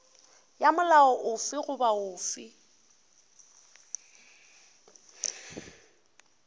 ya molao ofe goba ofe